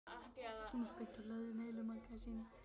Hún var spennt og hlaðin heilu magasíni.